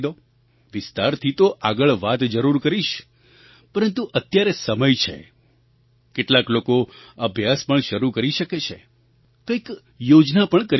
વિસ્તારથી તો આગળ વાત જરૂર કરીશ પરંતુ અત્યારે સમય છે કેટલાક લોકો અભ્યાસ પણ શરૂ કરી શકે છે કંઈક યોજના પણ કરી શકે છે